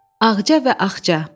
Ağca və Axca.